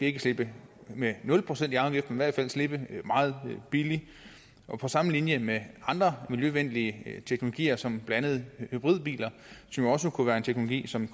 ikke slippe med nul procent i afgift hvert fald slippe meget billigt på samme linje med andre miljøvenlige teknologier som blandt andet hybridbiler som jo også kunne være en teknologi som